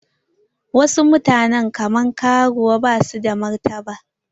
Wasu mutane kaman karuwai basu da martaba.